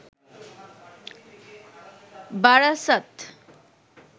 Barasat